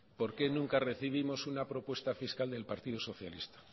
por qué nunca recibimos una propuesta fiscal del partido socialista